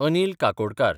Anil Kakodkar